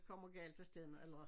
Kommer galt afsted med alderen